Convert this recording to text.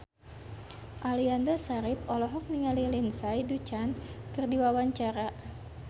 Aliando Syarif olohok ningali Lindsay Ducan keur diwawancara